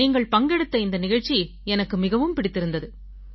நீங்கள் பங்கெடுத்த இந்த நிகழ்ச்சி எனக்கு மிகவும் பிடித்திருந்தது